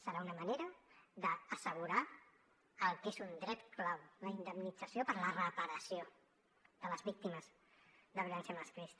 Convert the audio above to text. serà una manera d’assegurar el que és un dret clau la indemnització per a la reparació de les víctimes de violència masclista